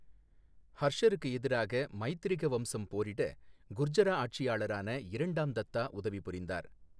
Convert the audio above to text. ஹர்ஷருக்கு எதிராக மைத்திரக வம்சம் போரிட குர்ஜரா ஆட்சியாளரான இரண்டாம் தத்தா உதவி புரிந்தார்.